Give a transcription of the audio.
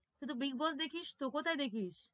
তুই তো bigboss তো কোথায় দেখিস?